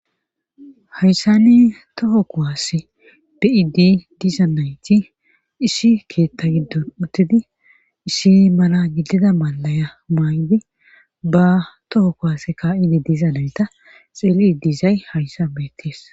Hayssani toho kuwaase be7iiddi diza nayti issi keetta giddon uttidi issi mala gidida mallaya mayidi ba toho kuwaase kaa7iddi diza nayta xeellidi dizay hayssan beettees